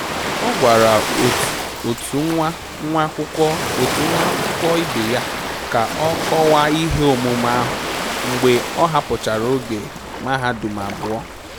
Ọ gwara otu nwa nwa akwụkwọ ibe ya ka ọ kọwaa ihe omume ahụ mgbe ọ hapụchara oge mahadum abụọ